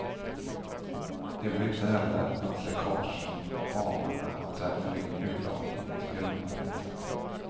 Det blir inte heller något läckage från balarna och därför ingen urlakning till grundvattnet.